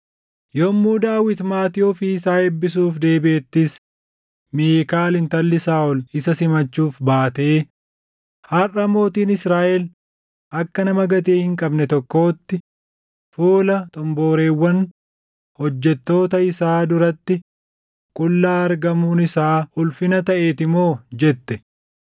Yommuu Daawit maatii ofii isaa eebbisuuf deebiʼettis Miikaal intalli Saaʼol isa simachuuf baatee, “Harʼa mootiin Israaʼel akka nama gatii hin qabne tokkootti fuula xomboreewwan hojjettoota isaa duratti qullaa argamuun isaa ulfina taʼeeti moo!” jette.